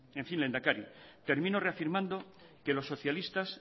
en fin lehendakari termino reafirmando que los socialistas